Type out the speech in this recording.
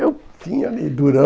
Eu tinha ali, durão.